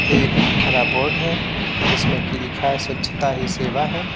एक हरा बोर्ड है जिसमें कि लिखा है स्वच्छता ही सेवा है।